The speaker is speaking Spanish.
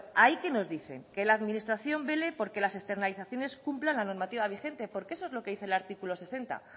ahí que nos dicen que la administración vele porque las externalizaciones cumplan la normativa vigente porque eso es lo que dice el artículo sesenta